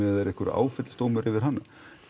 er einhver áfellisdómur yfir hann